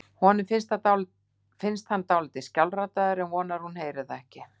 Honum finnst hann dálítið skjálfraddaður en vonar að hún heyri það ekki.